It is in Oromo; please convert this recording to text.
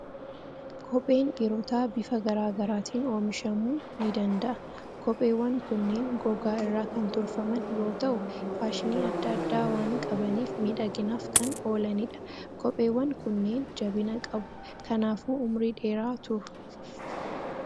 Kopheen dhiirotaa bifa garaa garaatiin oomishamuu ni danda'a. Kopheewwan kunneen gogaa irraa kan tolfaman yoo ta'u, faashinii adda addaa waan qabaniif miidhaginaaf kan oolanidha. Kopheewwan kunneen jabina qabu. Kanaafuu umurii dheeraa turu.